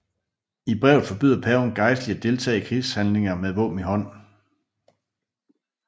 I brevet forbyder paven gejstlige at deltage i krigshandlinger med våben i hånd